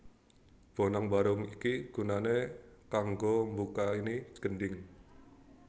Bonang Barung iku gunané kanggo mbukani Gendhing